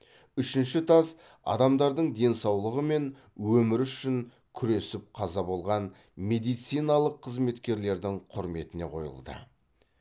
үшінші тас адамдардың денсаулығы мен өмірі үшін күресіп қаза болған медициналық қызметкерлердің құрметіне қойылды